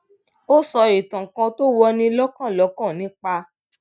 ó sọ ìtàn kan tó wọni lókàn lókàn nípa